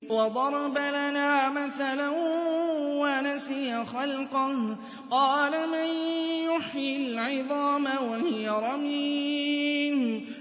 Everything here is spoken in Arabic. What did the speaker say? وَضَرَبَ لَنَا مَثَلًا وَنَسِيَ خَلْقَهُ ۖ قَالَ مَن يُحْيِي الْعِظَامَ وَهِيَ رَمِيمٌ